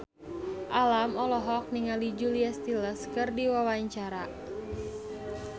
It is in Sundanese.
Alam olohok ningali Julia Stiles keur diwawancara